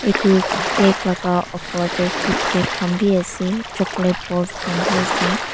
etu cake laga opor dae kitkat khan bi asae chocolate balls khan bi asae.